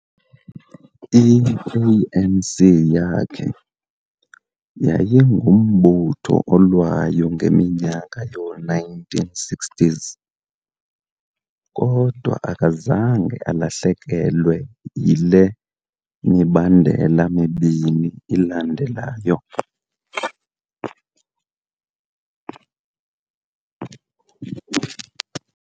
I-ANC yakhe yayingumbutho olwayo ngeminyaka yoo-1960s, kodwa akazange alahlekelwe yile mibandela mibini ilandelayo.